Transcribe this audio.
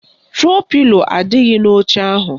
Tro pilo adịghị n'oche ahụ